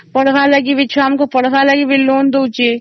ପଢିବାର ପାଇଁ ବି loan ଦେଉଛି ସ